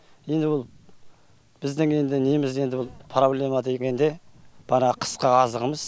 енді бұл біздің енді неміз енді бұл проблема да екен де банағы қысқы азығымыз